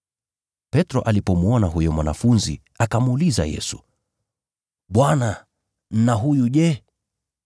Petro alipomwona huyo mwanafunzi, akamuuliza Yesu, “Bwana na huyu je?”